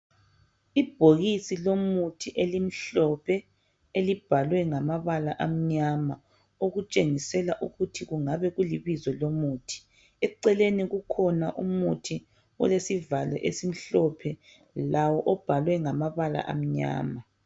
ibhokisi lomuthi elimhlophe elibalwe ngamabala amnyama okutshengisela ukuthi kungabe kulibizo lomuthi eceleni kukhona umuthi olesivalo esimhlophe lawo obhalwe ngamabala amnyama